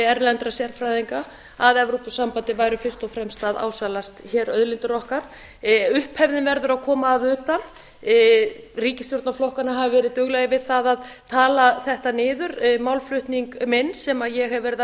erlendra sérfræðinga að evrópusambandið væri fyrst og fremst að ásælast auðlindir okkar upphefðin verður að koma að utan ríkisstjórnarflokkarnir hafa verið duglegir við að tala þetta niður málflutning minn sem ég hef verið